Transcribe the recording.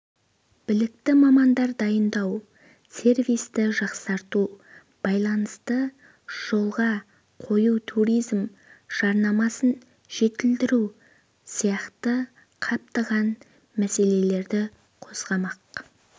білікті мамандар дайындау сервисті жақсарту байланысты жолға қою туризм жарнамасын жетілдіру сияқты қаптаған мәселелерді қозғамақ